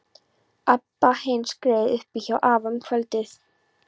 Abba hin skreið upp í hjá afa um kvöldið.